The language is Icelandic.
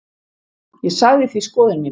Ég sagði því skoðun mína.